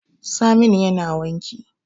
Saminu yana wanki